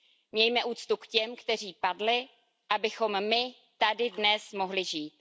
Mějme úctu k těm, kteří padli, abychom my tady dnes mohli žít.